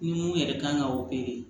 Ni mun yɛrɛ kan ka